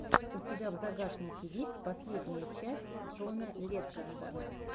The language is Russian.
у тебя в загашнике есть последняя часть джона ледженда